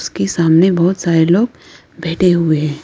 उसके सामने बहोत सारे लोग बैठे हुए हैं।